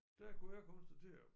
Der kunne jeg konstatere